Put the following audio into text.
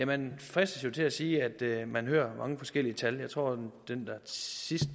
man fristes til at sige at man hører mange forskellige tal jeg tror den sidste